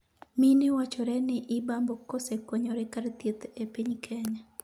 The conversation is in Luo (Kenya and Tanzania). mine wachore ni ibambo kosekonyore kar thieth e piny Kenya